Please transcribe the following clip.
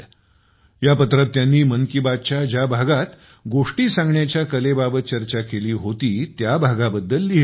या पत्रात त्यांनी मन की बातच्या ज्या भागात गोष्टी सांगण्याच्या कलेबाबत चर्चा केली होती त्या भागाबद्दल लिहिले होते